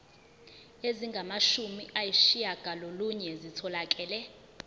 ezingamashumi ayishiyagalolunye zitholakele